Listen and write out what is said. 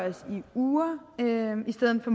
urimeligheder og